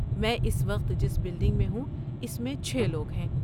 میں اس وقت جس بلڈنگ میں ہوں، اس میں چھے لوگ ہیں